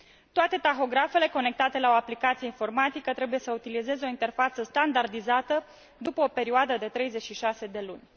Toate tahografele conectate la o aplicație informatică trebuie să utilizeze o interfață standardizată după o perioadă de 36 de luni.